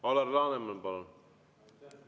Alar Laneman, palun!